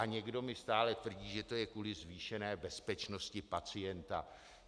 A někdo mi stále tvrdí, že to je kvůli zvýšené bezpečnosti pacienta.